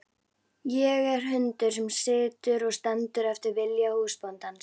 Ég er hundur sem situr og stendur eftir vilja húsbóndans.